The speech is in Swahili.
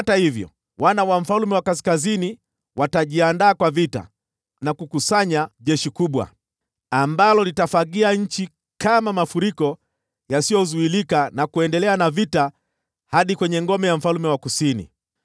Wana wa mfalme wa Kaskazini watajiandaa kwa vita na kukusanya jeshi kubwa, ambalo litafagia nchi kama mafuriko yasiyozuilika na kuendelea na vita hadi kwenye ngome ya mfalme wa Kusini.